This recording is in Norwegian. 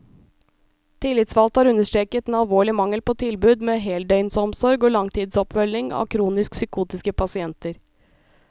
Tillitsvalgte har understreket den alvorlige mangel på tilbud med heldøgnsomsorg og langtidsoppfølging av kronisk psykotiske pasienter.